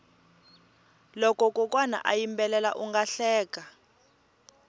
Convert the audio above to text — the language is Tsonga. loko kokwana a yimbela unga hleka